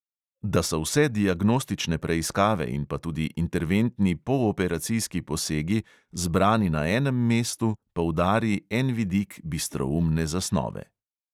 Da so vse diagnostične preiskave in pa tudi interventni pooperacijski posegi zbrani na enem mestu, poudari en vidik bistroumne zasnove.